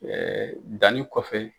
danni kɔfɛ.